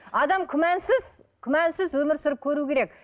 адам күмәнсіз күмәнсіз өмір сүріп көруі керек